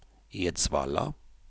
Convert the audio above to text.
Edsvalla